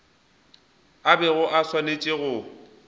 a bego a swanetše go